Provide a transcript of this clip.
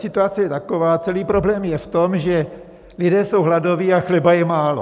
Situace je taková: celý problém je v tom, že lidé jsou hladoví a chleba je málo.